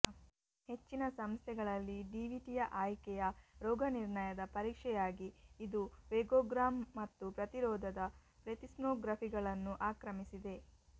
ಹೆಚ್ಚಿನ ಸಂಸ್ಥೆಗಳಲ್ಲಿ ಡಿವಿಟಿಯ ಆಯ್ಕೆಯ ರೋಗನಿರ್ಣಯದ ಪರೀಕ್ಷೆಯಾಗಿ ಇದು ವೆಗೊಗ್ರಾಮ್ ಮತ್ತು ಪ್ರತಿರೋಧದ ಪ್ಲೆತಿಸ್ಮೋಗ್ರಫಿಗಳನ್ನು ಆಕ್ರಮಿಸಿದೆ